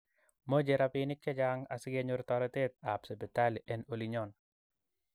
Moche rapinik chechang asigenyoor toretetap sipitali en olinyon